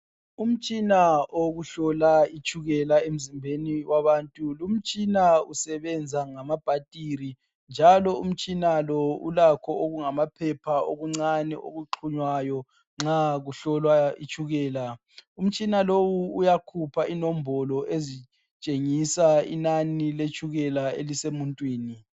Umtshina owokuhlola itshukela emzimbeni wabantu utshina usebenza ngama bhathiri njalo umtshina lo ulakho okungamaphepha okuncane okuxhumayo nxa kuhlolwa itshukela umtshina lo uyakhipha inombolo ezitshengisa inani yetshukela elisemuntwini.